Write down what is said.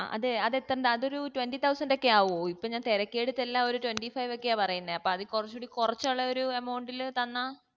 ആ അതെ അതെത്തേണ്ട അതൊരു twenty thousand ക്കെ ആകുഓ ഇപ്പൊ ഞാൻ തിരക്കിയേടത്തെല്ലാം അവര്ക്ക twenty five കെയാ പറയുന്നേ അപ്പോ അതികുറച്ചുകൂടി കൊറച്ചുള്ളൊരു amount ൽ തന്നാ